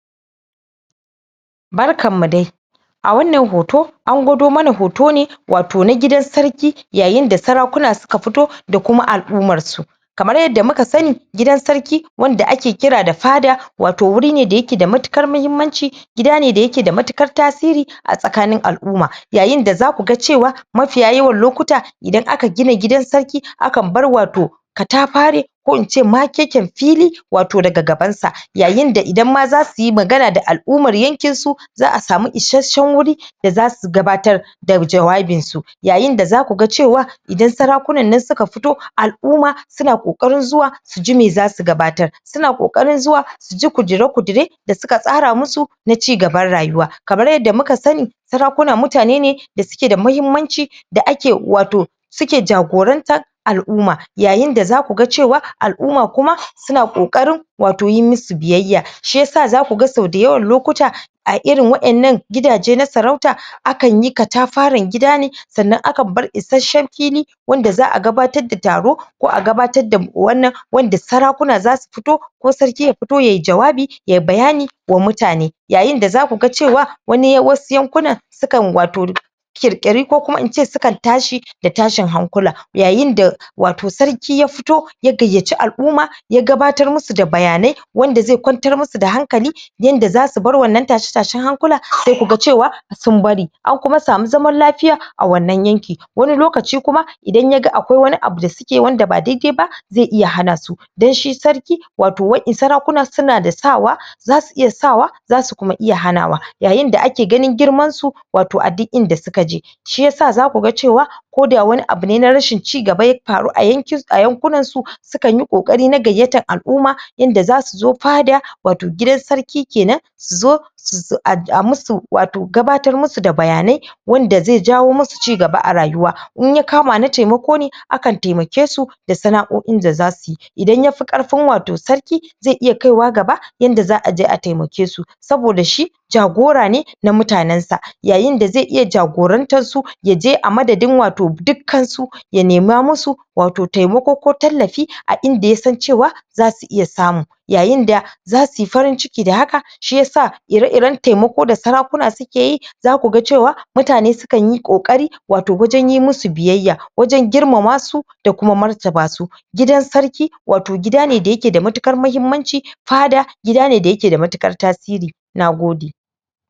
Barkan mu dai! A wannan hoto, an gwado mana hoto ne wato na gidan sarki yayin da sarakuna suka fito da kuma al'ummar su. Kamar yadda muka sani gidan sarki wanda ake kira da fada, wato wuri ne da yake da matuƙar muhimmanci, gida ne da yake da matuƙatar tasiri a tsakanin al'umma. Yayin da za ku ga cewa mafiya yawan lokuta idan aka gina gidan sarki akan ba wato katafaren ko ince makeken fili daga gaban sa. Yayin da idan ma za su yi magana da al'ummar yakin su za'a samu isasshen wuri da za su gabatar da jawabin su. Yayin da za ku ga cewa idan sarakunan nan suka fito al'umma su na ƙoƙarin zuwa suji me za su gabatar, su na ƙokarin zuwa suji ƙudure-ƙudure da suka tsara musu na cigaba rayuwa. Kamar yadda muka sani sarakuna mutane ne da suke da muhimmanci da kae wato suke jagorantar wato al'umma. Yayin da za ku ga cewa al'umma kuma su na ƙoƙarin wato yi musu biyayya. Shi ya sa za ku ga sau da yawan lokuta a irin waƴannan gidaje na sarauta akan yi katafaren gida ne sanna akan bar isasshen fili wanda za'a gabatar da taro ko a gabatar da wannan wanda sarakuna za su fito, ko sarki ya fito yayi jawabi ya bayani wa mutane. Yayin da za ku ga cewa wani yan wasu yankunan sukan wato ƙir-ƙiri ko kuma ince sukan tashi da tashi hankula Yayin da wato sarki ya fito ya gayyaci al'umma ya gabatar musu da bayanai wanda zai kwantar musu da hankali yanda za su bar wannan tashe-tashen hankula sai ku ga cewa sun bari an kuma samu zaman lafiya a wannan yanki. Wani lokaci kuma idan ya ga akwai wani abu da ace wanda ba dai-dai ba zai iya hana su, don shi sarki wato wa'i sarakuna su na da sawa, za su iya sawa za su kuma ia hanawa. Yayin da ake ganin girman su wato a duk inda suka je. Shi yasa za ku ga cewa koda wani abu ne na rashin cigaba ya faru a yanki a yankunan su sukan yi ƙokari na gayyatar al'umma yanda za su zo fada wato gidan sarki kenan su zo su a musu wato gabatar musu da bayanai wanda zai jawo musu cigaba a rayuwa. In ya kama na taimako ne, akan taimake su da sana'o'i da za su yi. In yafi karfin wato sarki zai iya kaiwa gaba yanda za'a je a taimake su. Saboda shi jagora ne na mutanen sa. Yayin da zai iya jagorantar su yaje a madadin wato dukkan su ya nema musu wato taimako ko tallafi a inda yasan cewa za su iya samu Yayin da za su yi farin ciki da haka shi yasa ire-iren taimako da sarakuna suke yi za ku ga cewa mutane sukan yi ƙoƙari wato wajen yi musu biyayya, wajen girmama su, da kuma martaba su. Gidan sarki wato gida ne da ya ke da matuƙar mahimmanci, fada gida ne da ya ke da matuƙar tasiri. Nagode!